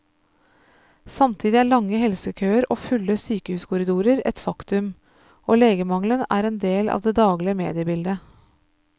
Samtidig er lange helsekøer og fulle sykehuskorridorer et faktum, og legemangelen er en del av det daglige mediebildet.